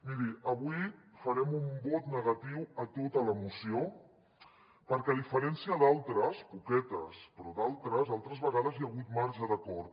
miri avui farem un vot negatiu a tota la moció perquè a diferència d’altres poquetes però d’altres altres vegades hi ha hagut marge d’acord